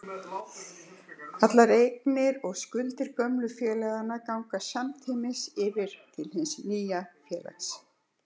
Allar eignir og skuldir gömlu félaganna ganga samtímis yfir til hins nýja félags.